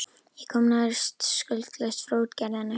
Ég komst nær skuldlaust frá útgerðinni.